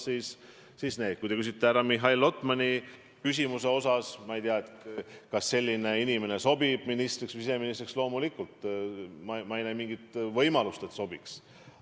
Mis puudutab härra Mihhail Lotmani küsimust, kas selline inimene sobiks siseministriks, siis loomulikult ma ei näe mingit võimalust, et ei sobiks.